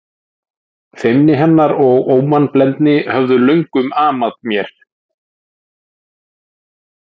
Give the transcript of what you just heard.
Feimni hennar og ómannblendni höfðu löngum amað mér.